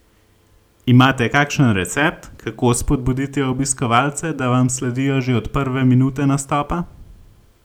Imate kakšen recept, kako spodbuditi obiskovalce, da vam sledijo že od prve minute nastopa?